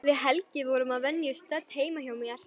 Við Helgi vorum að venju stödd heima hjá mér.